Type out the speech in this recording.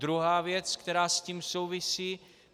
Druhá věc, která s tím souvisí.